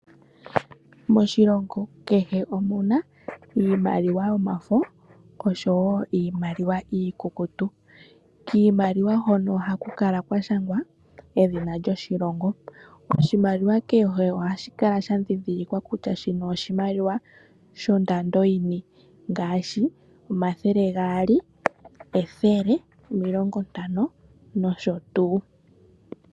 Moshilongo kehe omuna iimaliwa yomafo oshowo iimaliwa iikukutu. Kiimaliwa hono ohaku kala kwa shangwa edhina lyoshilongo. Oshimaliwa kehe ohashi kala sha ndhindhilikwa kutya shino oshimaliwa shondando yini ngaashi omathele gaali, ethele, omilongontano nosho tuu.